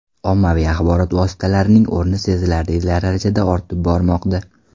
Ommaviy axborot vositalarining o‘rni sezilarli darajada ortib bormoqda.